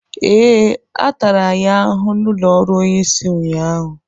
Ee, a tara anyị ahụhụ n’ụlọ ọrụ onye isi ụnyaahụ